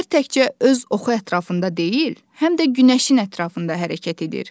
Yer təkcə öz oxu ətrafında deyil, həm də günəşin ətrafında hərəkət edir.